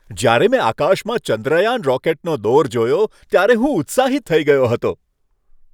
જ્યારે મેં આકાશમાં ચંદ્રયાન રોકેટનો દોર જોયો ત્યારે હું ઉત્સાહિત થઈ ગયો હતો.